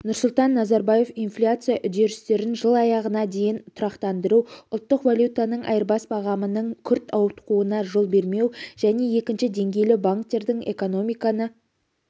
нұрсұлтан назарбаев инфляция үдерістерін жыл аяғына дейін тұрақтандыру ұлттық валютаның айырбас бағамының күрт ауытқуына жол бермеу және екінші деңгейлі банктердің экономиканы